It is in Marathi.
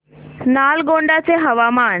नालगोंडा चे हवामान